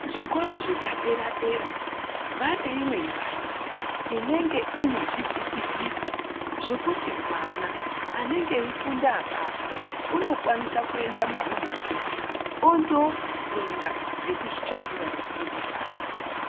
Zvikora zvepa dera dera vane imwe mbatso inenge ine zvi vhiti vhiti zvokuti mwana anenge eyi funda apapo uno kwanisa kuenda mu rumhu mo ondo funda ngekuzvi tsvakira ruzivo rwake.